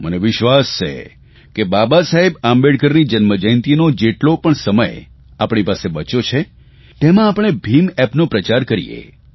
મને વિશ્વાસ છે કે બાબાસાહેબ આંબેડકરની જન્મજયંતીનો જેટલો પણ સમય આપણી પાસે બચ્યો છે તેમાં આપણે ભીમ એપનો પ્રચાર કરીએ